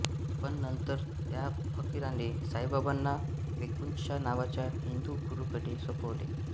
पण नंतर त्या फकिराने साईबाबांना वेकुंशा नावाच्या हिंदू गुरूकडे सोपवले